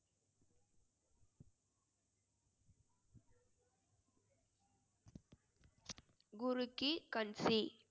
குரு கி கண் சி.